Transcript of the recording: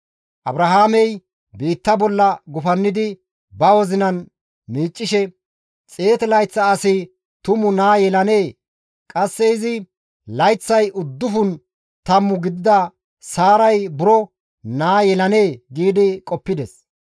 Abrahaamey biitta bolla gufannidi ba wozinan miiccishe, «100 layththa asi tumu naa yelanee? Qasse izis layththay uddufun tammu gidida Saaray buro naa yelanee?» gi qoppides.